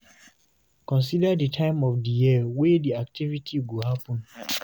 Consider di time of di year wey di holiday activity go happen